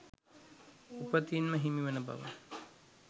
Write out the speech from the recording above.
උපතින්ම හිමිවන බවයි.